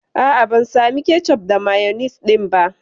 A'a, ban samu kecof da mayonis ɗin ba.